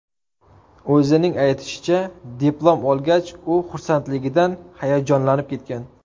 O‘zining aytishicha, diplom olgach, u xursandligidan hayajonlanib ketgan.